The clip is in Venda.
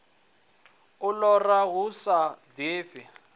u lora hu sa ḓifhi